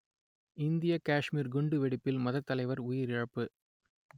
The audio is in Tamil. இந்தியக் காஷ்மீர் குண்டுவெடிப்பில் மதத்தலைவர் உயிரிழப்பு